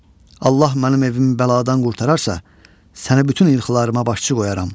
Allah mənim evimi bəladan qurtararsa, səni bütün elxılarıma başçı qoyaram.